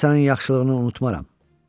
Mən sənin yaxşılığını unutmaram.